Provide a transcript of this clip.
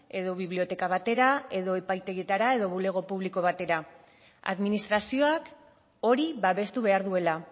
edo biblioteka batera edo epaitegietara edo bulego publiko batera administrazioak hori babestu behar duela